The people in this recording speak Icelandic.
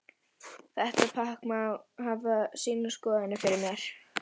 Þetta pakk má hafa sínar skoðanir fyrir mér.